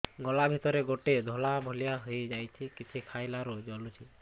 ଗଳା ଭିତରେ ଗୋଟେ ଧଳା ଭଳିଆ ହେଇ ଯାଇଛି କିଛି ଖାଇଲାରୁ ଜଳୁଛି